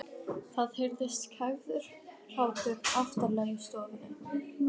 Það heyrist kæfður hlátur aftarlega í stofunni.